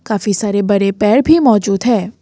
काफी सारे बरे पैर भी मौजूद है।